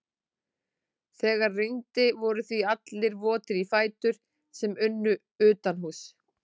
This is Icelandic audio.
Þegar rigndi voru því allir votir í fætur sem unnu utanhúss.